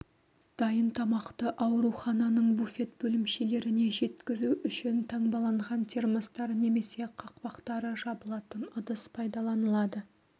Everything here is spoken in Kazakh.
дайын тамақты аурухананың буфет бөлімшелеріне жеткізу үшін таңбаланған термостар немесе қақпақтары жабылатын ыдыс пайдаланылады